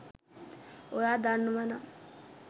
ඔයා දන්නවනම්